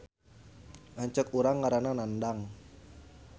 Lanceuk urang ngaranna Nandang